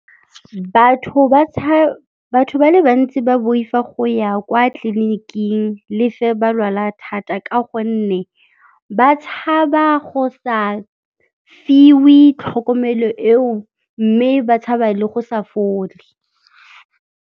Batho ba le bantsi ba boifa go ya kwa tleliniking le ge ba lwala thata ka gonne ba tshaba go sa fiwe tlhokomelo eo mme ba tshaba le go sa fole.